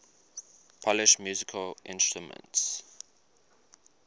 polish musical instruments